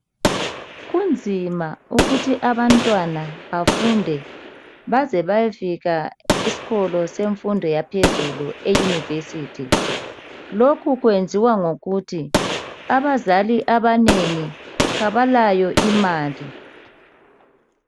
Kunzima ukuthi abantwana bafunde baze bayefika esikolo senfundo yaphezulu eyunivesithi .Lokhu kwenziwa yikuthi abazali abanengi kabalayo imali.